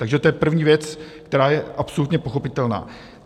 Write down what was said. Takže to je první věc, která je absolutně pochopitelná.